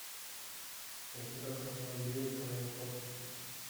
у тебя в каталоге есть тайны космоса